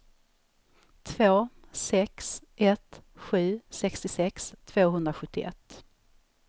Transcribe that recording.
två sex ett sju sextiosex tvåhundrasjuttioett